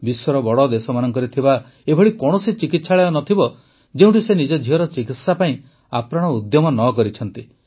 ବିଶ୍ୱର ବଡ଼ ଦେଶମାନଙ୍କରେ ଥିବା ଏଭଳି କୌଣସି ଚିକିତ୍ସାଳୟ ନ ଥିବ ଯେଉଁଠି ସେ ନିଜ ଝିଅର ଚିକିତ୍ସା ପାଇଁ ଆପ୍ରାଣ ଉଦ୍ୟମ ନ କରିଛନ୍ତି